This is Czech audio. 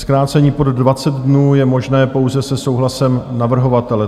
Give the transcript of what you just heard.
Zkrácení pod 20 dnů je možné pouze se souhlasem navrhovatele.